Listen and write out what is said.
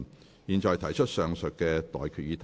我現在向各位提出上述待決議題。